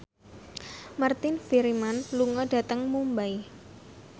Martin Freeman lunga dhateng Mumbai